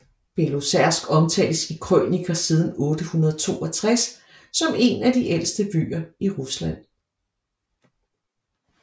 Belozersk omtales i krøniker siden 862 som en af de ældste byer i Rusland